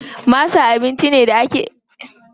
Masa abinci ne da ake yawan samu a garin Bauchi.